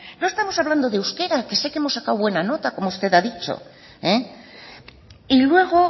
no estamos hablando de euskera que sé que hemos sacado buena nota como usted ha dicho y luego